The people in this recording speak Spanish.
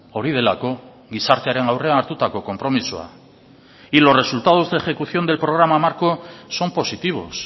hori delako gizartearen aurrean hartutako konpromisoa y los resultados de ejecución del programa marco son positivos